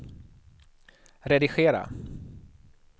redigera